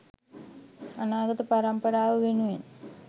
අනාගත පරම්පරව වෙනුවෙන්